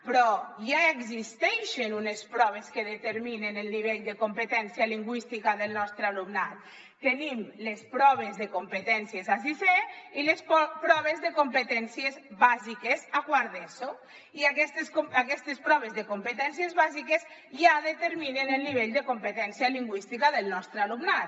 però ja existeixen unes proves que determinen el nivell de competència lingüística del nostre alumnat tenim les proves de competències a sisè i les proves de competències bàsiques a quart d’eso i aquestes proves de competències bàsiques ja determinen el nivell de competència lingüística del nostre alumnat